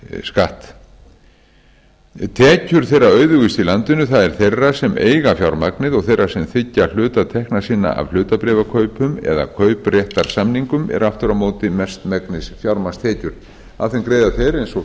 skatt tekjur þeirra auðugustu í landinu það er þeirra sem eiga fjármagnið og þeirra sem þiggja hluta tekna sinna af hlutabréfakaupum eða kaupréttarsamningum eru aftur á móti mestmegnis fjármagnstekjur af þeim greiða þeir eins og